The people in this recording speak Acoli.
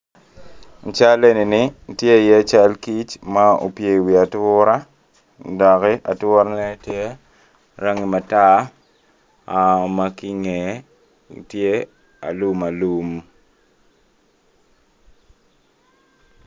I cal enini tye iye cal kic ma opye iwi atura doki aturane tye rangi matar ma ki ingeye tye alumalum.